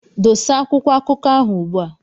Dosa akwụkwọ akụkọ ahụ ugbua!